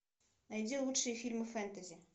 найди лучшие фильмы фэнтези